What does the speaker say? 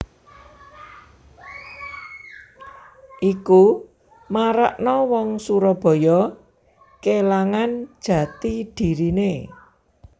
Iki marakna wong Surabaya kilangan jati dirine